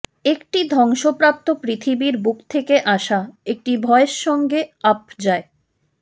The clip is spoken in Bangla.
একটি ধ্বংসপ্রাপ্ত পৃথিবীর বুক থেকে আসা একটি ভয়েস সঙ্গে আপ যায়